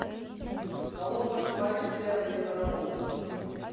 салон парикмахерская время работы